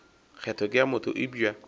kgetho ke ya motho eupša